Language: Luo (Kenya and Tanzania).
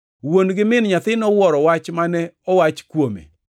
Wuon gi min nyathi nowuoro wach mane owach kuome.